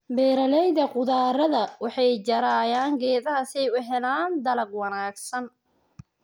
Beeraleyda khudrada waxay jarayaan geedaha si ay u helaan dalag wanaagsan.